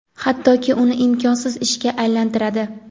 hattoki uni imkonsiz ishga aylantiradi.